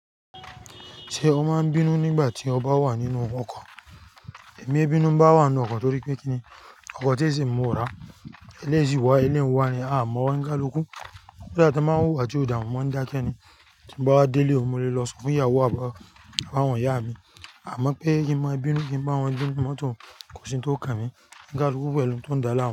Ṣé o máa ń bínú nígbà tí o bá wà nínú ọkọ̀? Èmi bínú ń bá wà nínú ọkọ̀ torí pé kíni, ọkọ̀ tí èsì mú ò rà, eléèsi wọ, ẹlẹ́rìí ń wa ni, a mọ̀ wọ́n ní Gárìkú. Bí àti lọ́la tí a máa ń wù wà tí òdà mú máa ń dákẹ́ ni. Bí mo bá délé o, mo lè lọ sọ fún ìyàwó àbá àwọn ìyá mi. A mọ̀ pé kí n má bínú kí ń bá wọn gbé mi mọ́tò, kò sí ohun tó kà mí. Kálúkú pẹ̀lú ohun tó ń dá láàmú.